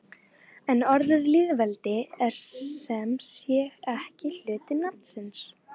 En orðið lýðveldi er sem sé ekki hluti nafnsins.